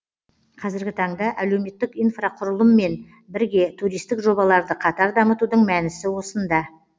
қазіргі таңда әлеуметтік инфрақұрылыммен бірге туристік жобаларды қатар дамытудың мәнісі осында